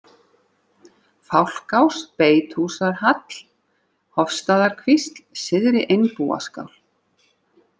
Fálkás, Beitarhúsahall, Hofstaðakvísl, Syðri-Einbúaskál